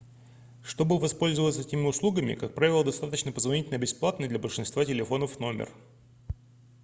чтобы воспользоваться этими услугами как правило достаточно позвонить на бесплатный для большинства телефонов номер